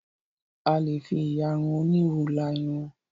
A lè fi ìyarun onírù la irun.